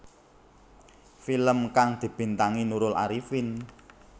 Film kang dibintangi Nurul Arifin